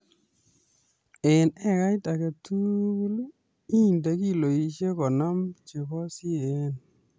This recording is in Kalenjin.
Eng ekait age tugul jnde kiloishek konom chebo CAN